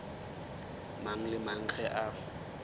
mang le mang ge a